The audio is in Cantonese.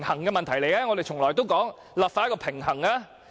我們從來都說立法要取得平衡。